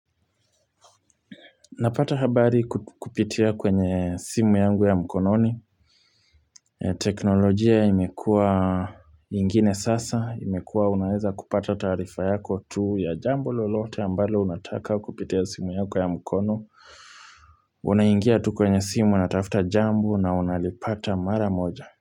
Napata habari ku kupitia kwenye simu yangu ya mkononi e teknolojia imekuwa ingine sasa. Imekuwa unaweza kupata taarifa yako tu ya jambo lolote ambalo unataka kupitia simu yako ya mkono. Unaingia tu kwenye simu anatafuta jambo na unalipata mara moja.